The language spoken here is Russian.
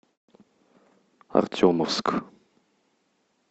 артемовск